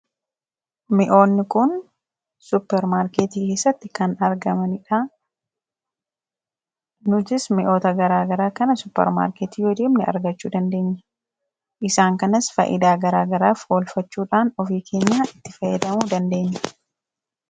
M'oonni kun suparmaarkeetii keessatti kan argamanidha. Nutis mi'oota garaa garaa kana suparmaarkeetii yoo deemne argachuu dandeenya. Isaan kanas faayidaa garaa garaaf oolfachuudhaan ofii keenyaa itti fayyadamuu dandeenya.